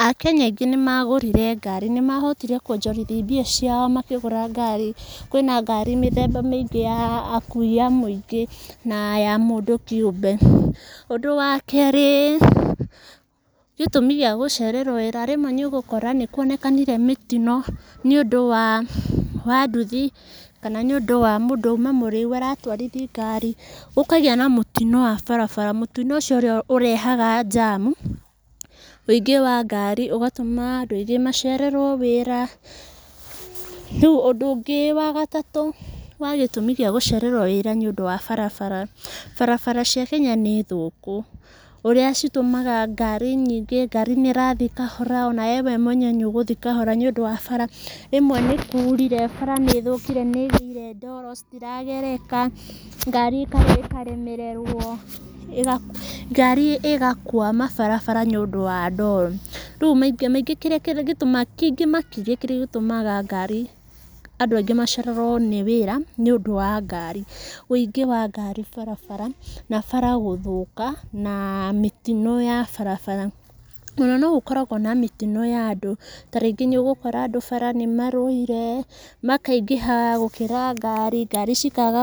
Akenya aingĩ nĩ magũrire ngari, nĩ mahotire kwonjĩrithia mbia ciao makĩgũra ngari. Kwĩ na ngari mĩthemba mĩingĩ ya akui a mũingĩ na ya mũndũ kĩũmbe. Ũndũ wa kerĩ, gĩtũmi gĩa gũcererwo wĩra, rĩmwe nĩ ũgũkora nĩ kwonekanire mĩtino nĩ ũndũ wa nduthi kana nĩ ũndũ wa mũndũ uma mũrĩu aratwarithia ngari, gũkagĩa na mũtino wa barabara, mũtino ũcio ũrĩa ũrehaga njamu. Ũingĩ wa ngari ũgatũma andũ aingĩ macererwo wĩra. Rĩu ũndũ ũngĩ wa gatatu wa gĩtũmi kĩa gũcererwo wĩra nĩ ũndũ wa barabara, barabara cia Kenya nĩ thũku, ũrĩa citũmaga ngari nyingĩ, ngari nĩ ĩrathiĩ kahora ona we mwene nĩ ũgũthiĩ kahora nĩ ũndũ wa bara. Rĩmwe nĩ kurire bara nĩ ĩthũkire nĩ ĩgĩire ndoro, citiragereka, ngari ĩkaremererwo, ngari ĩgakwama barabara nĩ ũndũ wa ndoro. Rĩu maita maingĩ kĩrĩa gĩtũmaga, kĩngĩ makĩria kĩrĩa gĩtũmaga ngari, andũ aingĩ macererwo nĩ wĩra nĩ ũndũ wa ngari, ũingĩ wa ngari barabara, na bara gũthũka, na mĩtino ya barabara. Ona no gũkoragwo na mĩtino ya andũ, ta rĩngĩ nĩ ũgũkora bara andũ nĩ marũire, makaingĩha gũkĩra ngari, ngari cikaga...